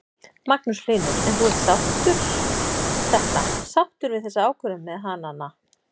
Magnús Hlynur: En þú ert sáttur þetta, sáttur við þessa ákvörðun með hanana?